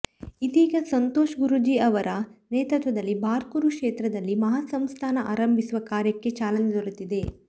ಇದೀಗ ಸಂತೋಷ ಗುರೂಜಿ ಅವರ ನೇತೃತ್ವದಲ್ಲಿ ಬಾರ್ಕೂರು ಕ್ಷೇತ್ರದಲ್ಲಿ ಮಹಾಸಂಸ್ಥಾನ ಆರಂಭಿಸುವ ಕಾರ್ಯಕ್ಕೆ ಚಾಲನೆ ದೊರೆತಿದೆ